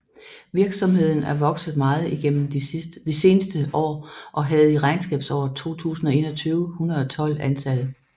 Virksomheden er vokset meget i gennem de seneste år og havde i regnskabsåret 2021 112 ansatte